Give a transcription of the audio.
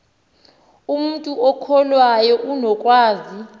umntu okholwayo unokwazi